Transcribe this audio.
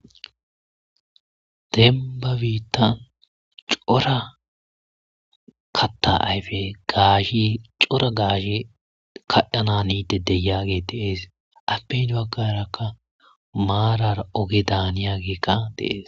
Denibba bitanni cora kaata ayifetikka gaasheyi cora gashsheyi kaaxanada haniga de'es.ape heni bagaraka marara ogedda haniyageyikka de'ees.